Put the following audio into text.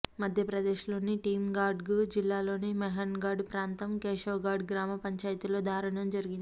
మధ్యప్రదేశ్లోని టీకామ్గఢ్ జిల్లాలోని మోహన్ఘఢ్ ప్రాంతం కేశవ్ఘఢ్ గ్రామ పంచాయతీలో దారుణం జరిగింది